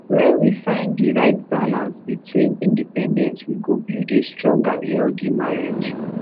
when we find di right balance between independence we go build a strong and healthy marriage